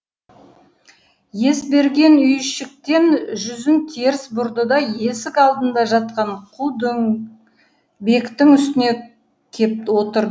есберген үйшіктен жүзін теріс бұрды да есік алдында жатқан қу дөңбектің үстіне кеп отырды